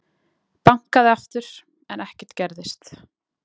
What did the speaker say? Bankaði aftur en ekkert gerðist.